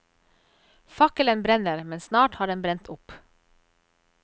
Fakkelen brenner, men snart har den brent opp.